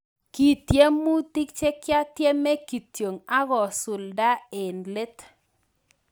Kitiemutik chekiatiemee kityo akasuldae eng leet